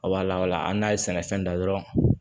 A b'a lawala hali n'a ye sɛnɛfɛn da dɔrɔn